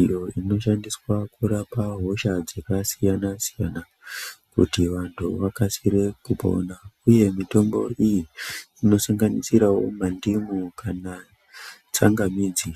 iyo inoshandiswa kurapa hosha dzakasiyana siyana kuti vantu vakasire kupona uye mutombo iyi inosanganisirawo mandimu kana tsanga midzi.